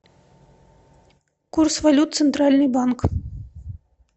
курс валют центральный банк